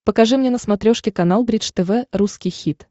покажи мне на смотрешке канал бридж тв русский хит